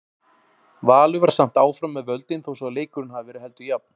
Valur var samt áfram með völdin þó svo að leikurinn hafi verið heldur jafn.